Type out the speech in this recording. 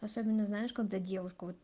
особенно знаешь когда девушку вот